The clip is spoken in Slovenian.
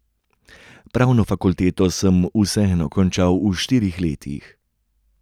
Pravno fakulteto sem vseeno končal v štirih letih.